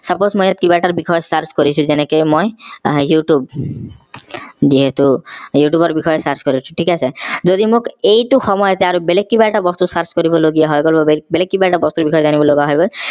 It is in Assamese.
suppose মই ইয়াত কিবা এটাৰ বিষয়ে মই search কৰিছো যেনেকে মই youtube যিহেতু youtube ৰ বিষয়ে search কৰিছো থিক আছে যদি মোক এইটো সময়তে আৰু বেলেগ কিবা এটা বস্তু search কৰিব লগিয়া হৈ গল বেলেগ কিবা এটা বস্তুৰ বিষয়ে জানিব লগা হৈ গল